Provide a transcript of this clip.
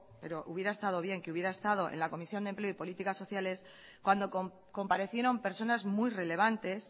pero hubiera estado bien que hubiera estado en la comisión de empleo y política sociales cuando comparecieron personas muy relevantes